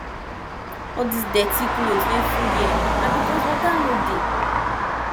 all dis dirty cloth wey full here na because water no dey